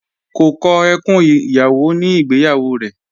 Kò kọ ẹkùn ìyàwó ní ìgbéyàwó rẹ̀